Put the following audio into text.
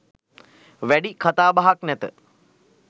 වැඩි කතාබහක් නැත